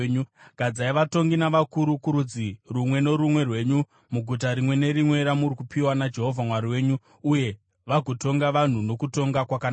Gadzai vatongi navakuru kurudzi rumwe norumwe rwenyu muguta rimwe nerimwe ramuri kupiwa naJehovha Mwari wenyu, uye vagotonga vanhu nokutonga kwakanaka.